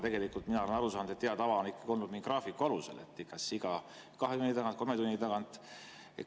Aga mina olen aru saanud, et hea tava on olnud graafiku alusel: kas iga kahe tunni tagant või kolme tunni tagant.